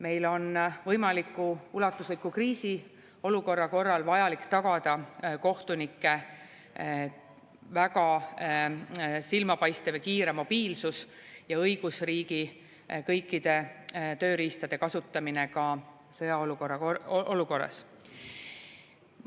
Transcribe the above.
Meil on võimaliku ulatusliku kriisi korral vajalik tagada kohtunike silmapaistev ja kiire mobiilsus ja õigusriigi kõikide tööriistade kasutamine ka sõjaolukorras.